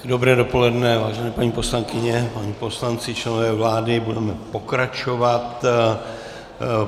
Dobré dopoledne, vážené paní poslankyně, páni poslanci, členové vlády, budeme pokračovat.